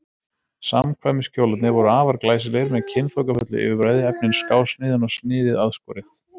Samkvæmiskjólarnir voru afar glæsilegir með kynþokkafullu yfirbragði, efnin skásniðin og sniðið aðskorið.